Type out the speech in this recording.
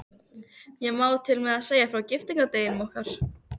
Ég má til með að segja frá giftingardeginum okkar.